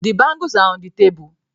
The bangles are on the table